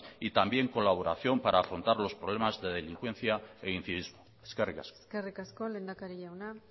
y también colaboración para afrontar los problemas de delincuencia e incivismo eskerrik asko eskerrik asko lehendakari jauna